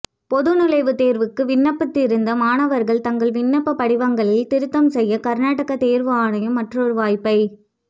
பொது நுழைவுத் தேர்வுக்கு விண்ணப்பித்திருந்த மாணவர்கள் தங்கள் விண்ணப்பப் படிவங்களில் திருத்தம் செய்ய கர்நாடக தேர்வு ஆணையம் மற்றொரு வாய்ப்பை